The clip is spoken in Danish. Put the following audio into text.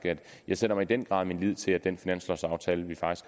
jeg sætter i den grad min lid til at den finanslovaftale vi